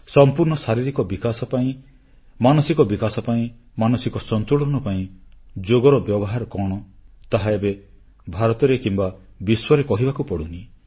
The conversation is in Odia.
ସମ୍ପୂର୍ଣ୍ଣ ଶାରୀରିକ ବିକାଶ ପାଇଁ ମାନସିକ ବିକାଶ ପାଇଁ ମାନସିକ ସନ୍ତୁଳନ ପାଇଁ ଯୋଗର ବ୍ୟବହାର କଣ ତାହା ଏବେ ଭାରତରେ କିମ୍ବା ବିଶ୍ୱରେ କହିବାକୁ ପଡୁନି